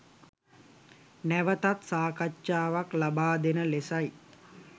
නැවතත් සාකච්ඡාවක් ලබා දෙන ලෙසයි.